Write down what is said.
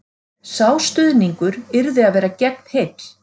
Sá stuðningur yrði að vera gegnheill